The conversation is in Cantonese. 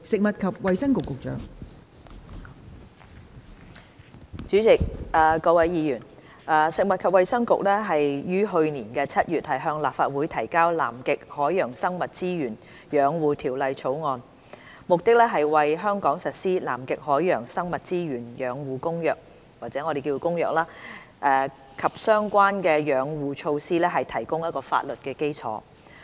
代理主席、各位議員，食物及衞生局於去年7月向立法會提交《南極海洋生物資源養護條例草案》，目的是為在香港實施《南極海洋生物資源養護公約》及相關的養護措施提供法律基礎。